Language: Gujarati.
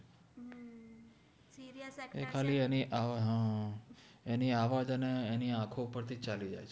એનિ આવાજ અને એનિ આખો ઉપર થી જ ચાલી જાએ